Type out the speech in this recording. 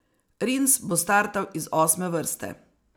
Rins bo startal iz osme vrste.